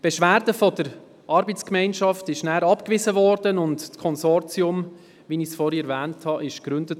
Die Beschwerde der ARGE wurde dann abgewiesen und das Konsortium, wie ich es vorhin erwähnt habe, wurde im Jahr 2014 gegründet.